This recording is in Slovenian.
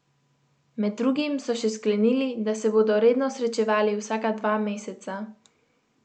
Med drugim so še sklenili, da se bodo redno srečevali vsaka dva meseca.